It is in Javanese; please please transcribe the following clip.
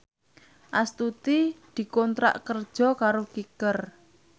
Astuti dikontrak kerja karo Kicker